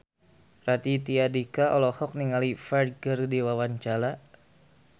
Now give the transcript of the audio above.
Raditya Dika olohok ningali Ferdge keur diwawancara